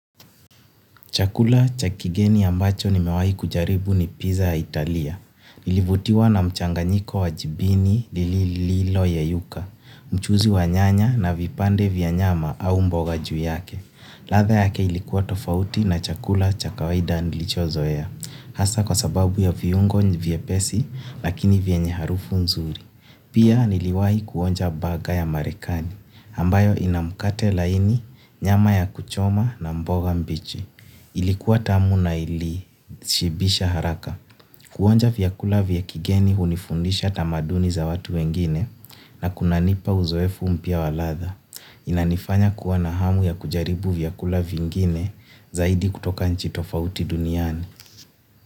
Chakula cha kigeni ambacho nimewahi kujaribu ni pizza ya Italia. Nilivutiwa na mchanganyiko wa jibini lililo yeyuka, mchuzi wa nyanya na vipande vya nyama au mboga juu yake. Ladha yake ilikuwa tofauti na chakula cha kawaida nilichozoea. Hasa kwa sababu ya viungo vyepesi lakini vyenye harufu nzuri. Pia niliwahi kuonja bugger ya Marekani ambayo ina mkate laini nyama ya kuchoma na mboga mbichi. Ilikuwa tamu na ilishibisha haraka. Kuonja vyakula vya kigeni hunifundisha tamaduni za watu wengine na kunanipa uzoefu mpya wa ladha. Inanifanya kuwa na hamu ya kujaribu vyakula vingine zaidi kutoka nchi tofauti duniani.